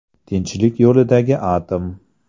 Tinchlik yo‘lidagi atom.